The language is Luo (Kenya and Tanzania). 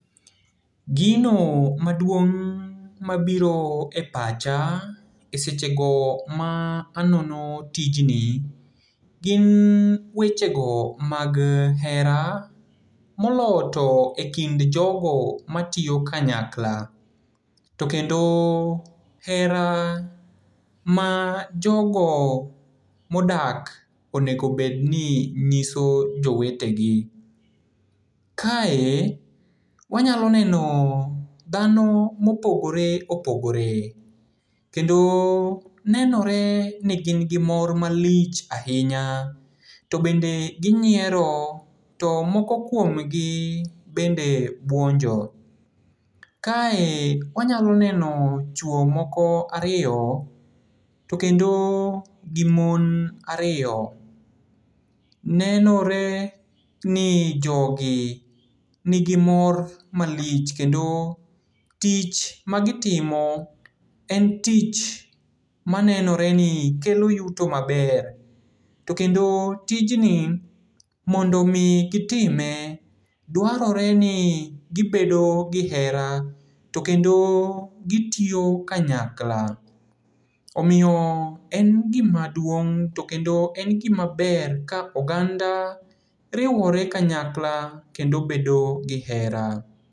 Gino maduong' mabiro e pacha e sechego ma anono tijni, gin wechego mag hera, moloyo to e kind jogo matiyo kanyakla. To kendo hera ma jogo modak onego bedni nyiso jowetegi. Kae, wanyalo neno dhano mopogore opogor. Kendo nenoreni gin gi mor malich ahinya, to bende ginyiero to moko kuomgi bende buonjo. Kae wanyalo neno chuo moko ariyo, to kendo gi mon ariyo. Nenore ni jogi nigi mor malich kendo tich magitimo en tich manenore ni kelo yuto maber, to kendo tijni mondomi gitime duarore ni gibedo gi hera, to kendo gitiyo kanyakla. Omiyo en gima duong' to kendo en gima ber ka oganda riwore kanyakla kendo bedo gi hera.